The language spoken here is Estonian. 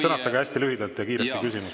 Sõnastage hästi lühidalt ja kiirelt küsimus!